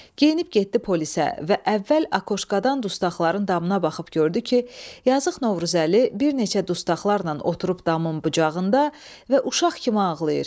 Geyinib getdi polisə və əvvəl aşdan dustaqların damına baxıb gördü ki, yazıq Novruzəli bir neçə dustaqlarla oturub damın bucağında və uşaq kimi ağlayır.